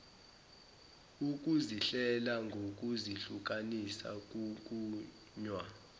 ukuzihlela ngokuzihlukanisa kunqunywa